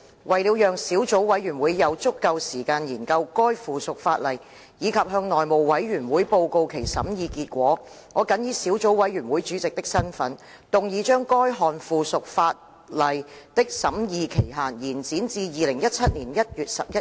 為了讓小組委員會有足夠時間研究該附屬法例，以及向內務委員會報告其審議結果，我謹以小組委員會主席的身份，動議將該項附屬法例的審議期限，延展至2017年1月11日。